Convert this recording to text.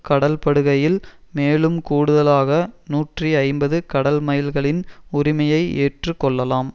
கடல்படுகையில் மேலும் கூடுதலாக நூற்றி ஐம்பது கடல்மைல்களின் உரிமையை ஏற்று கொள்ளலாம்